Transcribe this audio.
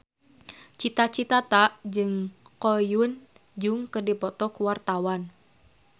Cita Citata jeung Ko Hyun Jung keur dipoto ku wartawan